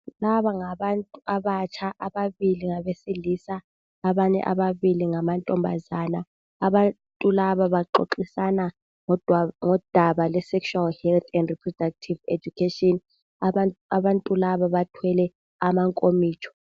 Laba ngabantu abatsha. Ababili ngabesilisa. Abanye ababili ngamantombazana. Abantu laba baxoxisana ngodaba lwesexual health, and Reproductive education. Abantu laba bathwele amankomitsho.